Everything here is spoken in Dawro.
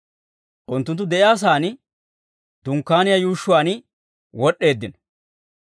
Unttunttu de'iyaa saan, dunkkaaniyaa yuushshuwaan wod'd'eeddino.